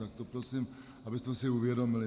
Tak to prosím, abychom si uvědomili.